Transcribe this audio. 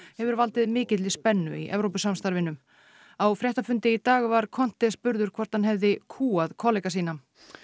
hefur valdið mikilli spennu í Evrópusamstarfinu á fréttafundi í dag var spurður hvort hann hefði kúgað kollega sína